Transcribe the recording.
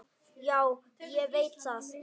Já, ég veit það.